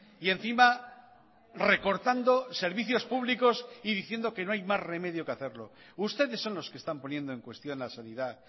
y encima recortando servicios públicos y diciendo que no hay más remedio que hacerlo ustedes son los que están poniendo en cuestión la sanidad